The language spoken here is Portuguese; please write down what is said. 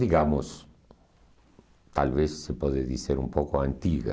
Digamos, talvez se pode dizer um pouco antiga.